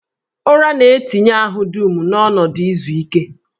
Ụra na-etinye ahụ dum n'ọnọdụ izu ike